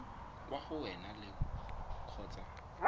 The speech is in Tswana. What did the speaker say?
kwa go wena le kgotsa